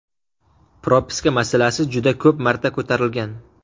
Propiska masalasi juda ko‘p marta ko‘tarilgan.